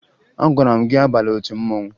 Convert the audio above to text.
Agwara m gị abala otu mmanwụ!